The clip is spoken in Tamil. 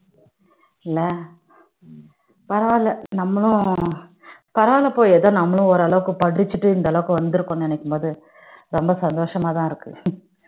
இல்ல பரவாயில்ல நம்மளும் வளர்றோம் பரவால்ல போய் ஏதோ நம்மளும் ஓரளவுக்கு படிச்சிட்டு இந்த அளவுக்கு வந்திருக்கும் என்று நினைக்கும் போது ரொம்ப சந்தோஷமா தான் இருக்கு